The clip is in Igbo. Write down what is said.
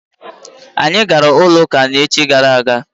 Anyị gaara ụlọ ụka echi gara aga.